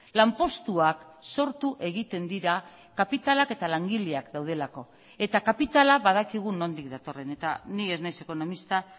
lanpostuak sortu egiten dira kapitalak eta langileak daudelako eta kapitala badakigu nondik datorren eta ni ez naiz ekonomista